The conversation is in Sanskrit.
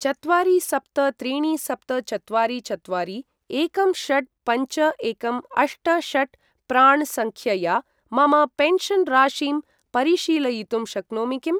चत्वारि सप्त त्रीणि सप्त चत्वारि चत्वारि एकं षट् पञ्च एकं अष्ट षट् प्राण् सङ्ख्यया मम पेन्शन् राशिं परिशीलयितुं शक्नोमि किम्?